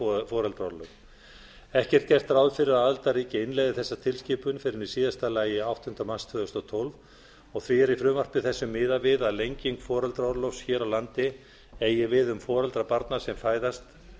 um foreldraorlof ekki er gert ráð fyrir að aðildarríki innleiði þessa tilskipun fyrr en í síðasta lagi áttunda mars tvö þúsund og tólf því er í frumvarpi þessu miðað við að lenging foreldraorlofs hér á landi eigi við um foreldra barna barna sem fæðast